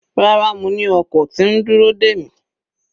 Rárá, mo ni ọkọ̀ tí ń dúró dè mi.